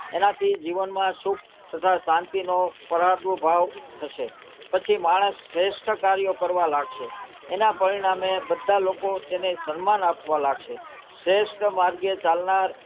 એનાથી જીવનમાં સુખ તથા શાંતિનો ભાવ થશે પછી માણસ શ્રેષ્ઠ કાર્યો કરવા લાગશે એનાં પરિણામે બધાં લોકો તેને સન્માન આપવાં લાગશે શ્રેષ્ઠ માર્ગે ચાલનાર,